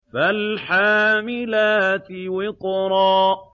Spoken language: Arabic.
فَالْحَامِلَاتِ وِقْرًا